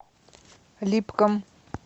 липкам